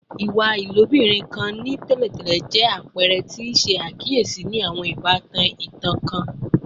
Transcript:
Iwa ilobirin kan ni tẹlentẹle jẹ apẹrẹ ti a ṣe akiyesi ni awọn ibatan itan kan